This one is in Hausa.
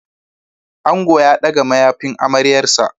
Ango ya ɗaga mayafin amaryarsa.